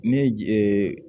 Ne ye je